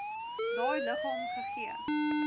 daai liggaam gegee